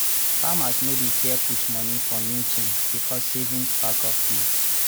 farmers no dey fear put moni for new thing becos savings backup dey.